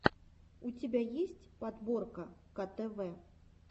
у тебя есть подборка ктв